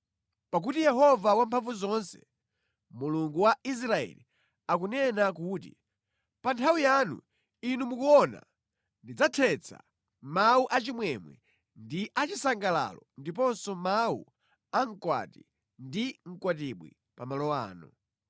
Pakuti Yehova Wamphamvuzonse, Mulungu wa Israeli akunena kuti, ‘Pa nthawi yanu, inu mukuona ndidzathetsa mawu achimwemwe ndi achisangalalo ndiponso mawu a mkwati ndi mkwatibwi pa malo ano.’